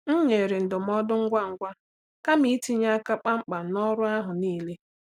M nyere ndụmọdụ ngwa ngwa kama itinye aka kpamkpam n’ọrụ ahụ niile.